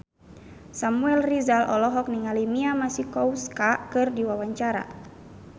Samuel Rizal olohok ningali Mia Masikowska keur diwawancara